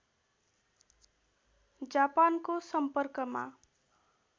जापानको सम्पर्कमा